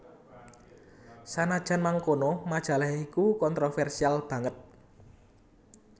Sanajan mangkono majalah iku kontroversial banget